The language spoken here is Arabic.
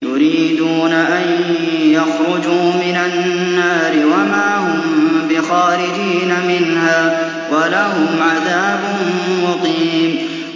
يُرِيدُونَ أَن يَخْرُجُوا مِنَ النَّارِ وَمَا هُم بِخَارِجِينَ مِنْهَا ۖ وَلَهُمْ عَذَابٌ مُّقِيمٌ